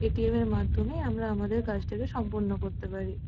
ATM. -এর মাধ্যমে আমরা আমাদের কাজটাকে সম্পন্ন করতে পারি।